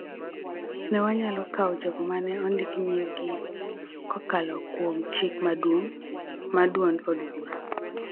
Ne wanyalo kawo jogo ma ne ondik nying-gi kokalo kuom chik maduong� mar duond od bura,